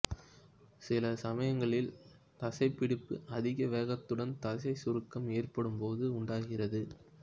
சில சமயங்களில் தசைப்பிடிப்பு அதிக வேகத்துடன் தசை சுருக்கம் ஏற்படும் போது உண்டாகிறது